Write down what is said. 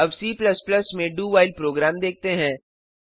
अब C में do while program देखते हैं